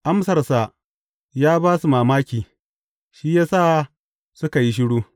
Amsarsa ya ba su mamaki, shi ya sa suka yi shiru.